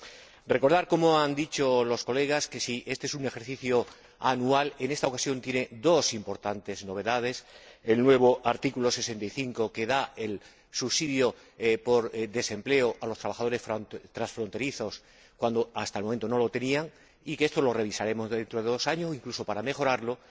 Quiero recordar, como ya han dicho los colegas, que si éste es un ejercicio anual, en esta ocasión tiene dos importantes novedades el nuevo artículo 65, que otorga el subsidio por desempleo a los trabajadores transfronterizos, cuando hasta el momento no lo tenían, y esto lo revisaremos dentro de dos años, incluso para mejorarlo